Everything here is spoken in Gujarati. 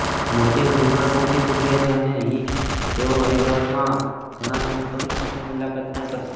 મોદી હરિદ્વાર પહોંચી ચુક્યા છે અને હી તેઓ હરિદ્વારમાં ઘણા સંતોની સાથે મુલાકાત પણ કરશે